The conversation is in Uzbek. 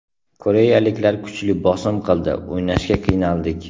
Koreyaliklar kuchli bosim qildi, o‘ynashga qiynaldik.